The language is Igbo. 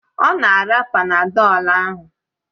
Ọ na-ara Panadọlu ahụ